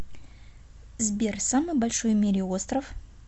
сбер самый большой в мире остров